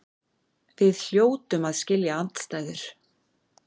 Við hljótum að skilja andstæður.